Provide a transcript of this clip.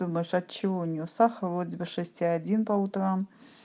думаешь от чего у неё сахар вроде бы шесть и один по утрам